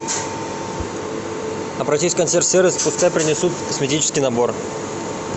обратись в консьерж сервис пускай принесут косметический набор